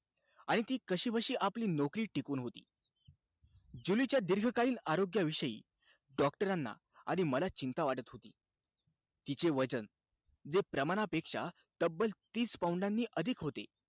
आणि ती कशीबशी आपली नौकरी टिकवून होती. जुलीच्या दीर्घकालीन आरोग्याविषयी doctor ना आणि मला चिंता वाटत होती. तिचे वजन, जे प्रमाणापेक्षा तब्बल तीस पौंडानी अधिक होते,